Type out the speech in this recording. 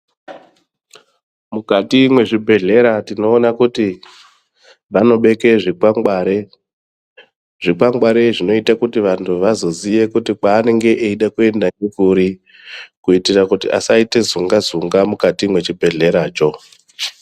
Mukati mwezvibhedhlera tinoona kuti vanobeke zvikwangwari. Zvikwangwari zvinozoite kuti muntu aziye kuti kwaanenge eide kuenda ngekuri kuti asazoite zunga-zunga mukati mwe chibhedhler acho.